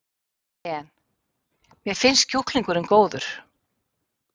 En: Mér finnst kjúklingurinn góður?